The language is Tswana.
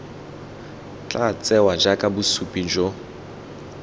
tla tsewa jaaka bosupi jo